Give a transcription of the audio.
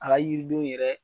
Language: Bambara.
A ka yiridenw yɛrɛ